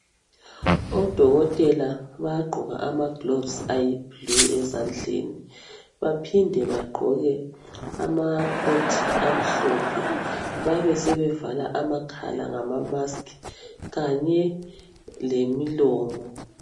odokotela bayagqoka ama gloves ayiblue ezandleni baphinde bagqoke ama coat amhlophe babesebevala amakhala ngama mask kanye lemilomo